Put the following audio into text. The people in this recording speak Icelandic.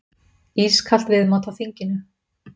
Ískalt viðmót á þinginu